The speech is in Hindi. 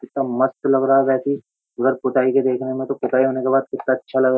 कितना मस्त लग रहा है वैसे ही अगर पुताई के देखने में तो पुताई होने के बाद कितना अच्छा लग रहा है।